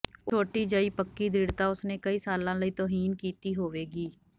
ਉਹ ਛੋਟੀ ਜਿਹੀ ਪੱਕੀ ਦ੍ਰਿੜ੍ਹਤਾ ਉਸ ਨੇ ਕਈ ਸਾਲਾਂ ਲਈ ਤੌਹੀਨ ਕੀਤੀ ਹੋਵੇਗੀ